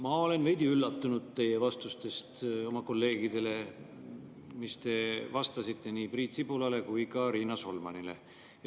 Ma olen veidi üllatunud teie vastuste peale, mille te andsite minu kolleegidele Priit Sibulale ja Riina Solmanile.